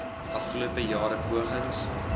afgelope jare pogings